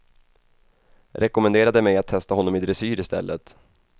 Rekommenderade mig att testa honom i dressyr i stället.